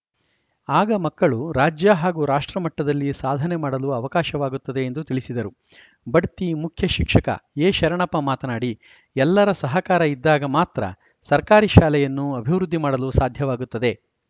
ಆಗ ಮಕ್ಕಳು ರಾಜ್ಯ ಹಾಗೂ ರಾಷ್ಟ್ರಮಟ್ಟದಲ್ಲಿ ಸಾಧನೆ ಮಾಡಲು ಅವಕಾಶವಾಗುತ್ತದೆ ಎಂದು ತಿಳಿಸಿದರು ಬಡ್ತಿ ಮುಖ್ಯ ಶಿಕ್ಷಕ ಎಶರಣಪ್ಪ ಮಾತನಾಡಿ ಎಲ್ಲರ ಸಹಕಾರ ಇದ್ದಾಗ ಮಾತ್ರ ಸರ್ಕಾರಿ ಶಾಲೆಯನ್ನು ಅಭಿವೃದ್ಧಿ ಮಾಡಲು ಸಾಧ್ಯವಾಗುತ್ತದೆ